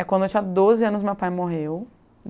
É quando eu tinha doze anos, meu pai morreu.